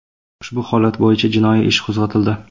Ushbu holat bo‘yicha jinoiy ish qo‘zg‘atildi.